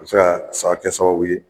O bɛ se ka fa kɛ sababu ye